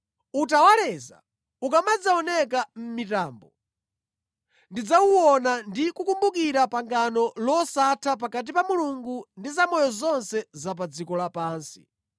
Utawaleza ukamadzaoneka mʼmitambo, ndidzawuona ndi kukumbukira pangano losatha pakati pa Mulungu ndi zamoyo zonse pa dziko lapansi.”